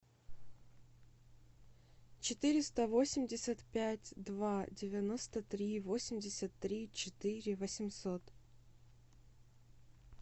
четыреста восемьдесят пять два девяносто три восемьдесят три четыре восемьсот